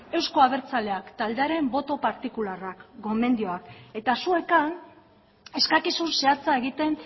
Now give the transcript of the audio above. euzko abertzaleak taldearen boto partikularra gomendioak eta zuek han eskakizun zehatza egiten